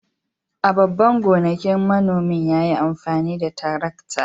A babban gonakin, manomin ya yi amfani da tarakta.